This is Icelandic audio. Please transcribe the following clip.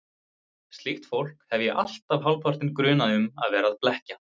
Slíkt fólk hef ég alltaf hálfpartinn grunað um að vera að blekkja.